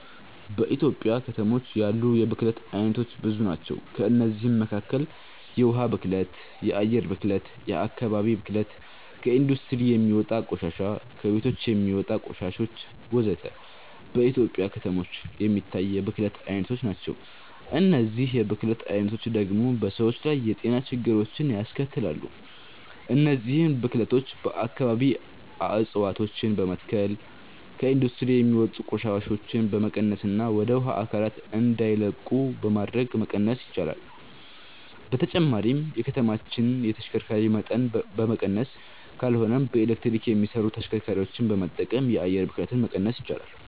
በኢትዮጵያ ከተሞች ያሉ የብክለት አይነቶች ብዙ ናቸው። ከእነዚህም መካከል የውሃ ብክለት፣ የአየር ብክለት፣ የአከባቢ ብክለት፣ ከኢንዱስትሪ የሚወጣ ቆሻሻ፣ ከቤቶች የሚወጣ ቆሻሾች ወዘተ። በኢትዮጵያ ከተሞች የሚታይ የብክለት አይነቶች ናቸው። እነዚህ የብክለት አይነቶች ደግሞ በሰዎች ላይ የጤና ችግሮችን ያስከትላሉ። እነዚህን ብክለቶች በአከባቢ እፀዋቶችን በመትከል፣ ከኢንዱስትሪ የሚወጡ ቆሻሻዎችን በመቀነስና ወደ ውሃ አካላት እንዳይለቁ በማድረግ መቀነስ ይቻላል። በተጨማሪም የከተማዎችን የተሽከርካሪ መጠን በመቀነስ ካልሆነም በኤሌክትሪክ የሚሰሩ ተሽከርካሪዎችን በመጠቀም የአየር ብክለትን መቀነስ ይቻላል።